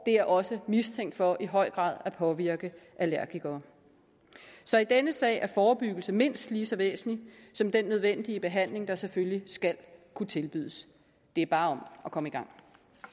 er også mistænkt for i høj grad at påvirke allergikere så i denne sag er forebyggelse mindst lige så væsentlig som den nødvendige behandling der selvfølgelig skal kunne tilbydes det er bare om at komme i gang